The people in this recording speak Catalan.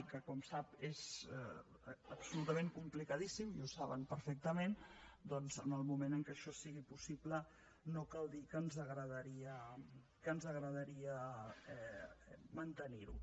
que com sap és absolutament complicadíssim i ho saben perfectament doncs en el moment en què això sigui possible no cal dir que ens agradaria mantenir ho